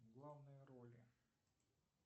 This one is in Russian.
главные роли